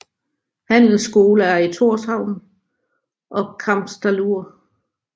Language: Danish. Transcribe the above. Handelsskole er i Tórshavn og Kambsdalur